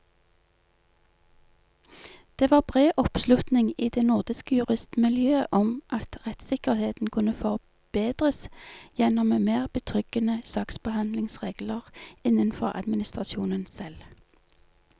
Det var bred oppslutning i det nordiske juristmiljøet om at rettssikkerheten kunne forbedres gjennom mer betryggende saksbehandlingsregler innenfor administrasjonen selv.